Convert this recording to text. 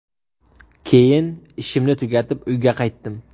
Keyin ishimni tugatib, uyga qaytdim.